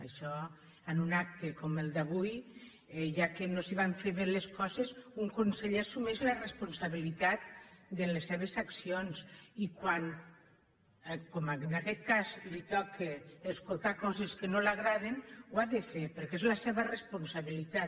això en un acte com el d’avui ja que no es van fer bé les coses un conseller assumeix la responsabilitat de les seves accions i quan com en aquest cas li toca escoltar coses que no li agraden ho ha de fer perquè és la seva responsabilitat